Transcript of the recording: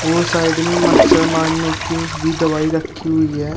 और साइड में मच्छर मारने की भी दवाई रखी हुई है।